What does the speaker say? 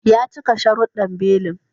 Ya cika sharuddan belin